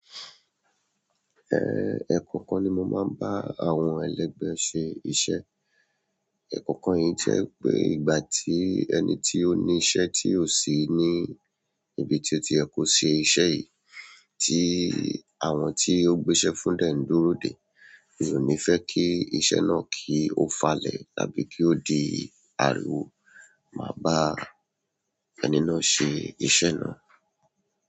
Eh, ẹ̀ kọ̀ọ̀kan ni mo máa ń bá àwọn ẹlẹ́gbẹ́ ṣe iṣẹ́. Ẹ̀ kọ̀ọ̀kan yìí jẹ́ pé ìgbà tí ẹni tí ó ní iṣẹ́ tí ò sí ní ibi tí ó ti yẹ kó ṣe iṣẹ́ yìí, tí àwọn tí ó gbéṣẹ́ fún dẹ ń dúró dè, mi o nífẹ́ kí iṣẹ́ náà kí ó falẹ̀ tàbí kí ó di ariwo, màá bá ẹni náà ṣe iṣẹ́ náà.